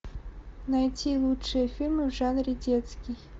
найти лучшие фильмы в жанре детский